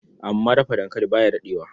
Amma Dafa dankali ba ya daɗewa.